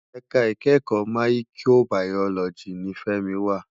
Èká ikèékò máyìkóbàyólòjí ni Femi wá